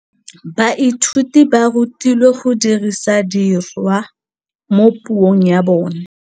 Baithuti ba rutilwe go dirisa tirwa mo puong ya bone.